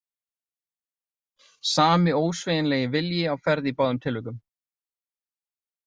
Sami ósveigjanlegi vilji á ferð í báðum tilvikum.